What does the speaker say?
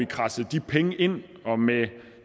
kradset de penge ind og med